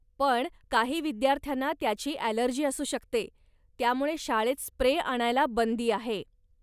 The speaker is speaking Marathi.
पण, काही विद्यार्थ्यांना त्याची ॲलर्जी असू शकते त्यामुळे शाळेत स्प्रे आणायला बंदी आहे.